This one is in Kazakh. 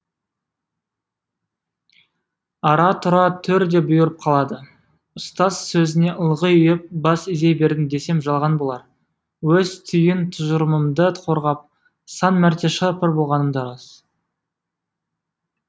ара тұра төр де бұйырып қалады ұстаз сөзіне ылғи ұйып бас изей бердім десем жалған болар өз түйін тұжырымымды қорғап сан мәрте шыр пыр болғаным да рас